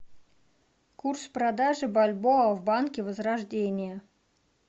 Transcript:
курс продажи бальбоа в банке возрождение